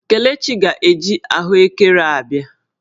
Kelechi ga-eji ahụ ekere a bịa